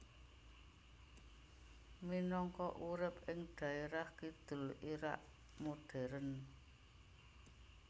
Minangka urip ing dhaerah kidul Irak modern